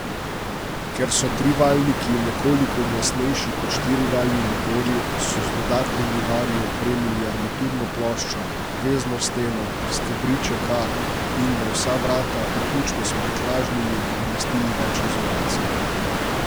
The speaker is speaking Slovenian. Ker so trivaljniki nekoliko glasnejši kot štirivaljni motorji, so z dodatnimi vari opremili armaturno ploščo, vezno steno, stebriček A in na vsa vrata, vključno s prtljažnimi, namestili več izolacije.